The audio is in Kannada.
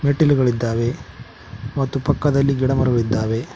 ಮೆಟ್ಟಿಲುಗಳಿದ್ದಾವೆ ಮತ್ತು ಪಕ್ಕದಲ್ಲಿ ಗಿಡ ಮರಗಳಿದ್ದಾವೆ.